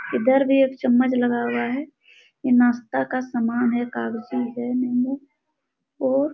इधर भी एक चम्मच लगा हुआ है ये नाश्ता का समान है कागजी है नींबू और--